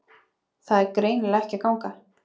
Það er greinilega ekki að ganga